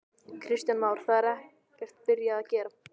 Kristján Már: Það er ekkert byrjað að gera?